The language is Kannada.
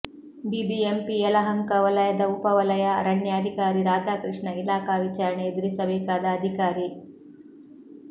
ಬಿಬಿಎಂಪಿ ಯಲಹಂಕ ವಲಯದ ಉಪ ವಲಯ ಅರಣ್ಯಾಧಿಕಾರಿ ರಾಧಾಕೃಷ್ಣ ಇಲಾಖಾ ವಿಚಾರಣೆ ಎದುರಿಸಬೇಕಾದ ಅಧಿಕಾರಿ